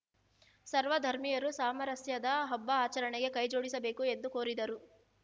ಸರ್ವ ಧರ್ಮೀಯರು ಸಾಮರಸ್ಯದ ಹಬ್ಬ ಆಚರಣೆಗೆ ಕೈ ಜೋಡಿಸಬೇಕು ಎಂದು ಕೋರಿದರು